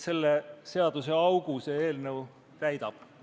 Selle seaduseaugu see eelnõu täidab.